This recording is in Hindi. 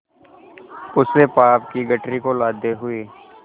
उस पाप की गठरी को लादे हुए